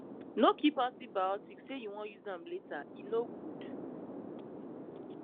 no keep antibiotics say you wan use am later e no good